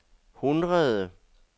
hundrede